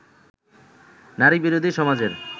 নারীবিরোধী সমাজের